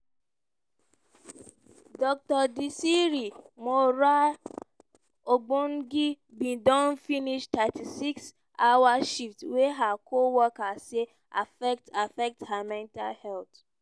dr desree moraa obwogi bin don finish 36 hour shift wey her co-workers say affect affect her mental health.